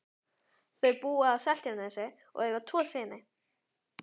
Þau búa á Seltjarnarnesi og eiga tvo syni.